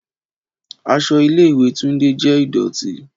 Aṣọ ile-iwe Tunde jẹ idọti.